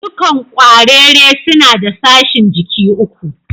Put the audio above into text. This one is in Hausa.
Dukan kwarere suna da sashin jiki uku.